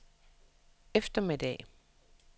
eftermiddag